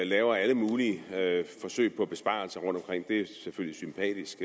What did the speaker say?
laver alle mulige forsøg på besparelser rundtomkring det er selvfølgelig sympatisk